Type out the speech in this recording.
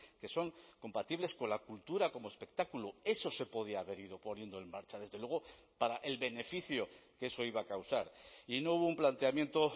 que son compatibles con la cultura como espectáculo eso se podía haber ido poniendo en marcha desde luego para el beneficio que eso iba a causar y no hubo un planteamiento